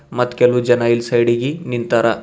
ಮತ್ ಕೆಲುವ್ ಜನ ಇಲ್ ಸೈಡಿ ಗಿ ನಿಂತಾರ.